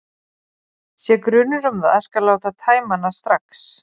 Sé grunur um það skal láta tæma hana strax.